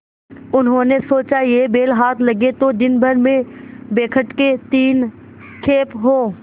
उन्होंने सोचा यह बैल हाथ लगे तो दिनभर में बेखटके तीन खेप हों